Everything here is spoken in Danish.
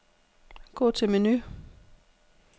Gå til menu.